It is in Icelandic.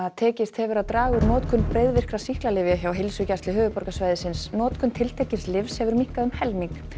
tekist hefur að draga úr notkun breiðvirkra sýklalyfja hjá Heilsugæslu höfuðborgarsvæðisins notkun tiltekins lyfs hefur minnkað um helming